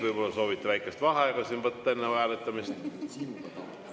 Võib-olla soovite väikest vaheaega võtta enne hääletamist?